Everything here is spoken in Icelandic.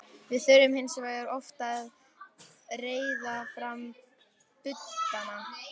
Við þurftum hins vegar oft að reiða fram budduna.